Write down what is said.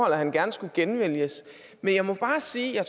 at han gerne skulle genvælges men jeg må bare sige at jeg